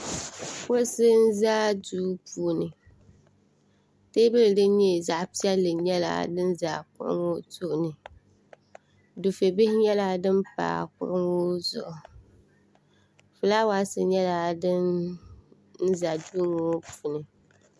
Kuɣisi n za duu puuni teebuli din nyɛ zaɣ' piɛli din za kuɣi ŋɔ tooni di fɛbihi nyɛla din pa kuɣu ŋɔ zuɣu fulaawaasi nyɛla din ʒɛ duu ŋɔ puuni